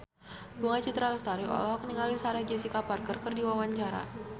Bunga Citra Lestari olohok ningali Sarah Jessica Parker keur diwawancara